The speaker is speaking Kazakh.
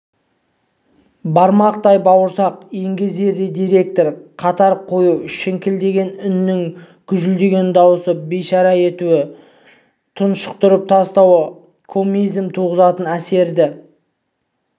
бармақтай бауырсақ пен еңгезердей директорды қатар қою шіңкілдеген үннің гүжілдеген дауысты бейшара етуі тұншықтырып тастауы комизм туғызатын әсерді